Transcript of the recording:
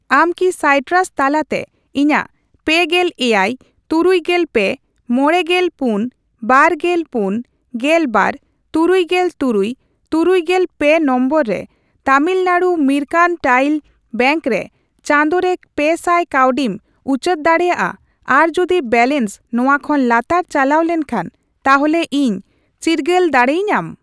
ᱟᱢ ᱠᱤᱥᱟᱭᱴᱨᱟᱥ ᱛᱟᱞᱟᱛᱮ ᱤᱧᱟᱜ ᱯᱮᱜᱮᱞ ᱮᱭᱟᱭ, ᱛᱩᱨᱩᱭᱜᱮᱞ ᱯᱮ, ᱢᱚᱲᱮᱜᱮᱞ ᱯᱩᱱ, ᱵᱟᱨᱜᱮᱞ ᱯᱩᱱ, ᱜᱮᱞᱵᱟᱨ, ᱛᱩᱨᱩᱭᱜᱮᱞ ᱛᱩᱨᱩᱭ, ᱛᱩᱨᱩᱭᱜᱮᱞ ᱯᱮ ᱱᱚᱢᱵᱚᱨ ᱨᱮ ᱛᱟᱢᱤᱞᱱᱟᱰ ᱢᱟᱨᱠᱮᱱᱴᱟᱭᱤᱞ ᱵᱮᱝᱠ ᱨᱮ ᱪᱟᱸᱫᱳ ᱨᱮ ᱯᱮᱥᱟᱭ ᱠᱟᱹᱣᱰᱤᱢ ᱩᱪᱟᱹᱲ ᱫᱟᱲᱮᱭᱟᱜᱼᱟ ᱟᱨᱡᱩᱫᱤ ᱵᱮᱞᱮᱱᱥ ᱱᱚᱣᱟ ᱠᱷᱚᱱ ᱞᱟᱛᱟᱨ ᱪᱟᱞᱟᱣ ᱞᱮᱱᱠᱷᱟᱱ ᱛᱟᱦᱚᱞᱮ ᱤᱧ ᱪᱤᱨᱜᱟᱹᱞ ᱫᱟᱲᱮ ᱟᱹᱧᱟᱢ ?